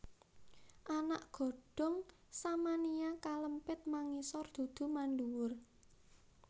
Anak godhong Samania kalempit mangisor dudu manduwur